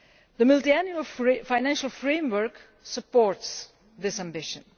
The Multiannual Financial Framework supports this ambition.